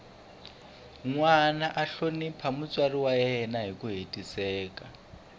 nwana a hlonipha mutswari wa yena hiku hetiseka